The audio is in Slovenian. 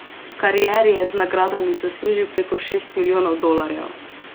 V karieri je z nagradami zaslužil preko šest milijonov dolarjev.